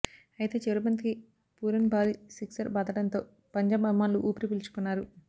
అయితే చివరి బంతికి పూరన్ భారీ సిక్సర్ బాదడంతో పంజాబ్ అభిమానులు ఉపిరి పీల్చుకున్నారు